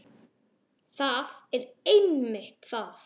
Það er einmitt það!